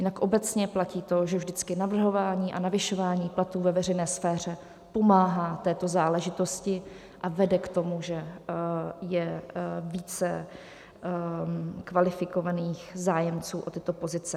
Jinak obecně platí to, že vždycky navrhování a navyšování platů ve veřejné sféře pomáhá této záležitosti a vede k tomu, že je více kvalifikovaných zájemců o tyto pozice.